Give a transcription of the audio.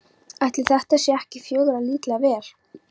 Ætli þetta sé ekki fjögurra lítra vél?